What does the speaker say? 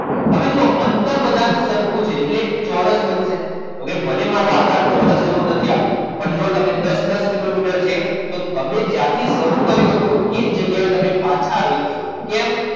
હવે જો અંતર બધાનું સરખું છે એટલે જ ચોરસ બનશે okay ભલે મારો આકાર ચોરસ એવો નથી પરંતુ જુઓદસ દસ કિલોમીટર છે એટલે તમે જ્યાંથી શરૂ કર્યું હતું તે જ જગ્યાએ તમે પાછા આવી જશો કેમ